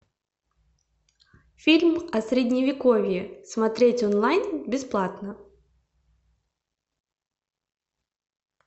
фильм о средневековье смотреть онлайн бесплатно